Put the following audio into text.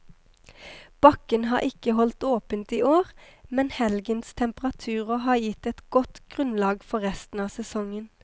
Bakken har ikke holdt åpent i år, men helgens temperaturer har gitt et godt grunnlag for resten av sesongen.